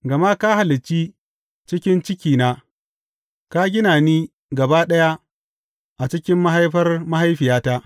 Gama ka halicci ciki cikina; ka gina ni gaba ɗaya a cikin mahaifar mahaifiyata.